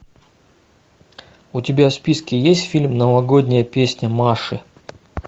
у тебя в списке есть фильм новогодняя песня маши